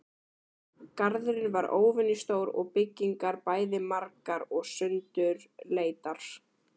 Garðurinn var óvenjustór og byggingar bæði margar og sundurleitar.